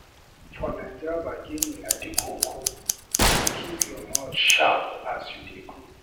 For Naija, bargaining na di koko, you go keep your mout sharp as you dey go.